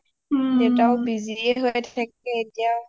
দেউতা অ busy এ হৈ থাকে এতিয়া